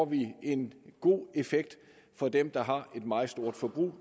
vi en god effekt for dem der har et meget stort forbrug